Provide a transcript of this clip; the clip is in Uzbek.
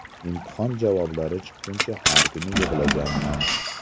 Imtihon javoblari chiqqunicha har kuni yig‘laganman.